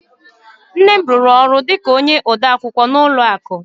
Nne m rụrụ ọrụ dị ka onye odeakwụkwọ n'ụlọ akụ